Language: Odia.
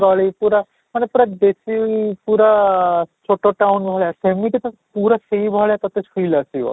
ଗଳି ପୁରା ମାନେ ପୁରା ଦେଶୀ ପୁରା ଛୋଟ town ଭଳିଆ ସେମିତି ପୁରା ସେଇ ଭଳିଆ ତୋତେ feel ଆସିବ